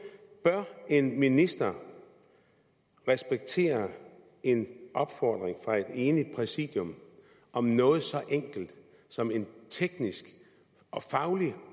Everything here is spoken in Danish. bør en minister respektere en opfordring fra et enigt præsidium om noget så enkelt som en teknisk og faglig